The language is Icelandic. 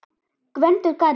Gvendur garri.